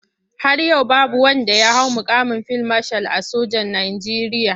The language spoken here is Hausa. Har yau babu wanda ya hau muƙamin fil mashal a sojan Najeriya.